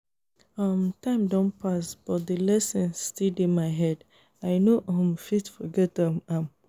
um time don pass but the lesson still dey my head i no um fit forget um am